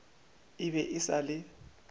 e be e sa le